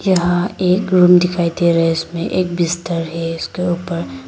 यहां एक रूम दिखाई दे रहा है इसमें एक बिस्तर है इसके ऊपर।